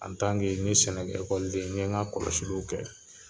n ye ni sɛnɛkɛ den , n ye ka kɔlɔsiliw kɛ.